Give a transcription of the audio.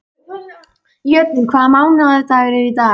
Jötunn, hvaða mánaðardagur er í dag?